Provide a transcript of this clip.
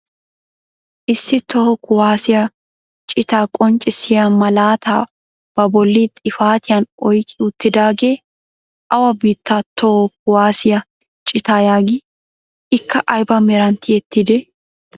Issi toho kuwaasiyaa citaa qonccisiyaa malaataa ba bolli xifatiyaan oyqqi uttidaagee awa biittaa toho kuwaasiyaa citaa yaagii? Ikka ayba meran tiyettidee?